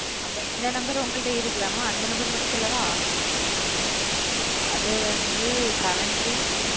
அப்ப இந்த நம்பர் உங்ககிட்ட இருக்குல மா அந்த நம்பர் மட்டும் சொல்லவா அது வந்து seven three